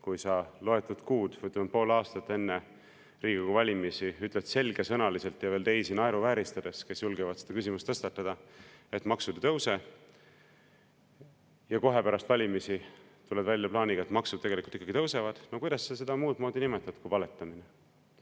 Kui sa loetud kuud, või ütleme, pool aastat enne Riigikogu valimisi ütled selgesõnaliselt ja veel naeruvääristades teisi, kes julgevad seda küsimust tõstatada, et maksud ei tõuse, ja kohe pärast valimisi tuled välja plaaniga, et maksud tegelikult ikkagi tõusevad – no kuidas sa seda muud moodi nimetad kui valetamiseks?